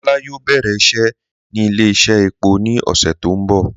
Kọla yóò bẹ̀rẹ̀ iṣẹ́ ni ilẹ̀-iṣẹ̀ èpọ̀ ni ọṣẹ̀ tí n bọ